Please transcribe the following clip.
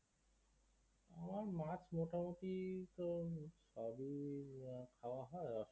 আমার মাছ মোটামোটি তো হম সবই খাওয়া হয়